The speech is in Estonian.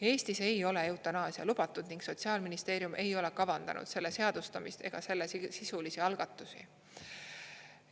Eestis ei ole eutanaasia lubatud ning Sotsiaalministeerium ei ole kavandanud selle seadustamist ega sellesisulisi algatusi.